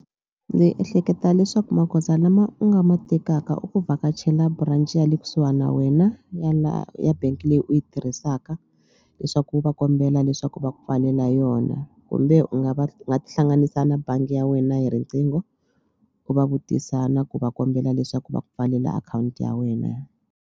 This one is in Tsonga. Ndzi ehleketa leswaku magoza lama u nga ma tekaka i ku vhakachela branch ya le kusuhani na wena ya la ya bank leyi u yi tirhisaka leswaku u va kombela leswaku va ku pfalela yona kumbe u nga va u nga tihlanganisa na bangi ya wena hi riqingho u va vutisa na ku va kombela leswaku va pfalela akhawunti ya wena.